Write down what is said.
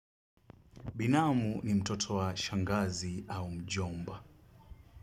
Binamu ni mtoto wa shangazi au mjomba.